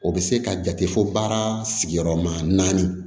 O bɛ se ka jate fo baara sigiyɔrɔma naani